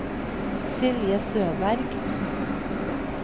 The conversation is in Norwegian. Silje Søberg